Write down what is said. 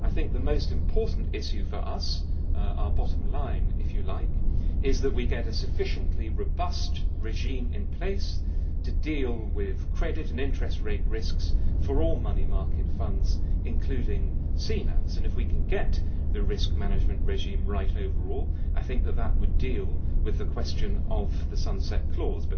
The most important issue for us our bottom line, if you like is that we get a sufficiently robust regime in place to deal with credit and interest rate risks for all money market funds, including CNAVs. If we can get the risk management regime right overall, that would deal with the question of the sunset clause.